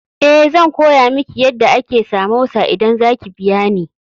Eh, zan koya miki yadda ake samosa idan za ki biya ni.